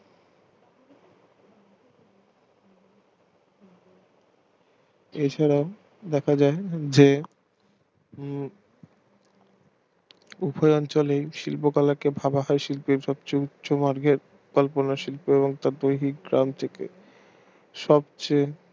এছাড়া দেখা যায় যে উম উভয় অঞ্চলের শিল্প কলাকে ভাবা হয় শিল্পের সবচেয়ে উচ্চ মর্গের কল্পনা শিল্প এবং তার দৈহিক সব চেয়ে